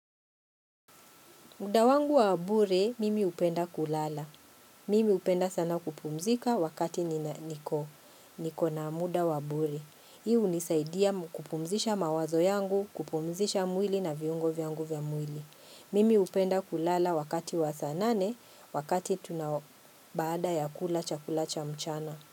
Muda wangu wa bure, mimi hupenda kulala. Mimi hupenda sana kupumzika wakati niko na muda wa bure. Hii hunisaidia kupumzisha mawazo yangu, kupumzisha mwili na viungo vyangu vya mwili. Mimi hupenda kulala wakati wa saa nane, wakati tunao baada ya kula chakula cha mchana.